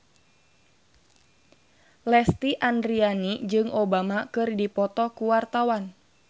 Lesti Andryani jeung Obama keur dipoto ku wartawan